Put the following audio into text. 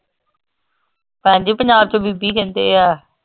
ਭੈਣ ਜੀ ਪੰਜਾਬ ਚ ਬੀਬੀ ਕਹਿੰਦੇ ਆ